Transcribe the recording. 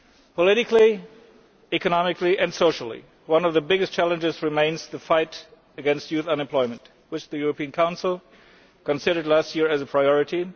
Politically, economically and socially one of the biggest challenges remains the fight against youth unemployment, which the European Council considered last year as a priority.